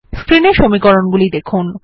স্ক্রিনের সমীকরণগুলি দেখুন